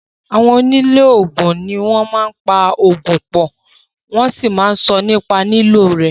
Àwọn onímọ̀ oògùn ní o máa ń po oògùn pọ̀, wọ́n sì máà ń sọ nípa ìlò rẹ̀.